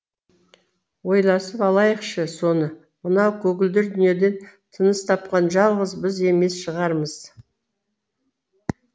ойласып алайықшы соны мынау көгілдір дүниеден тыныс тапқан жалғыз біз емес шығармыз